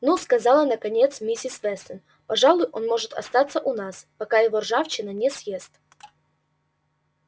ну сказала наконец миссис вестон пожалуй он может остаться у нас пока его ржавчина не съест